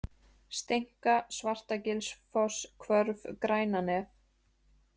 Steinka, Svartagilsfoss, Hvörf, Grænanef